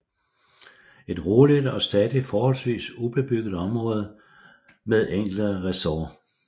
Et roligt og stadig forholdsvis ubebygget område med enkelte resorts